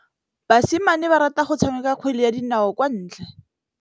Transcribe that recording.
Basimane ba rata go tshameka kgwele ya dinaô kwa ntle.